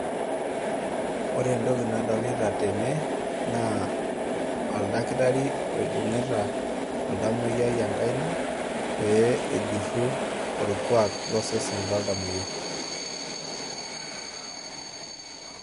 Ore entoki nadolita tene naa oldakitarii loibung'uta oldamoyiai enkaina pee ejuro orlkwak losesen loldamoyiai